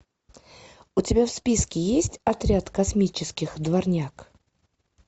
у тебя в списке есть отряд космических дворняг